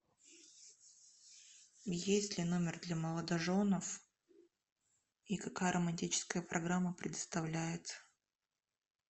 есть ли номер для молодоженов и какая романтическая программа предоставляется